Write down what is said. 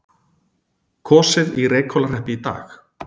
Kosið í Reykhólahreppi í dag